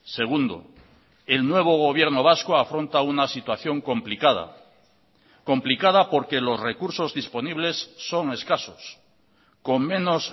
segundo el nuevo gobierno vasco afronta una situación complicada complicada porque los recursos disponibles son escasos con menos